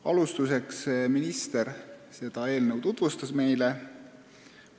Kõigepealt minister tutvustas meile seda eelnõu.